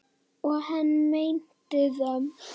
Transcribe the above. Og hann meinti það.